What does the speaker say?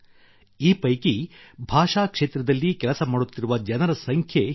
ಈ ಪೈಕಿ ಭಾಷಾ ಕ್ಷೇತ್ರದಲ್ಲಿ ಕೆಲಸ ಮಾಡುತ್ತಿರುವ ಜನರ ಸಂಖ್ಯೆ ಹೆಚ್ಚು